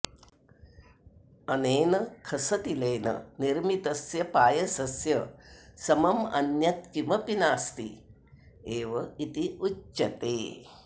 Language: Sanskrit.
अनेन खसतिलेन निर्मितस्य पायसस्य समम् अन्यत् किमपि नास्ति एव इति उच्यते